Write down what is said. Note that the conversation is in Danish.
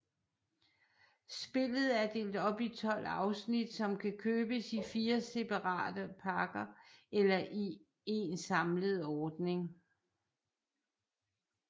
Spillet er delt op i 12 afsnit som kan købes i 4 separate pakker eller i én samlet ordning